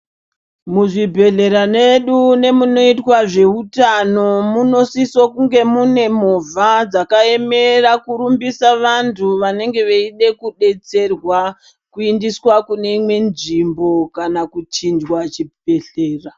Muzvibhehlera medu nemunoitwa zveutano munosiso kunge mune movha dzakaemera kurumbisa vantu vanenge veide kudetserwa kuindiswa kune imweni nzvimbo Kana kuchinjwa chibhehlera.